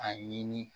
A ɲini